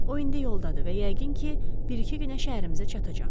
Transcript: O indi yoldadır və yəqin ki, bir-iki günə şəhərimizə çatacaq.